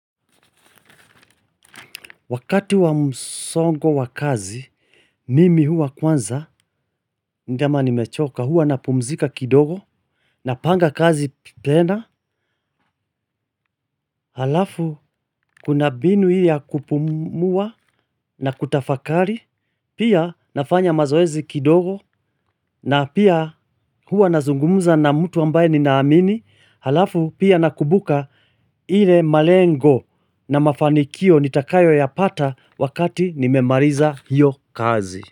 Wakati wa msongo wa kazi, mimi hua kwanza, ndema nimechoka, hua na pumzika kidogo, napanga kazi tena, halafu kuna binu ile ya kupumua na kutafakari, pia nafanya mazoezi kidogo, na pia hua na zungumuza na mtu ambaye ninaamini, halafu pia na kubuka hile malengo na mafanikio nitakayo ya pata wakati nimemaliza hiyo kazi.